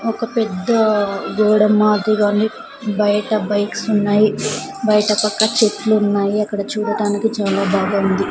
ఒక పెద్దా గోడ మాదిరిగా ఉంది బయట బైక్స్ ఉన్నాయి స్ బయట పక్క చెట్లు ఉన్నాయి అక్కడ చూడటానికి చాలా బాగా ఉంది.